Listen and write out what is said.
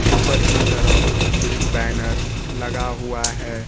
ऊपर के तरफ एक बैनर लगा हुआ है।